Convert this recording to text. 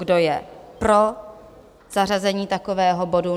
Kdo je pro zařazení takového bodu?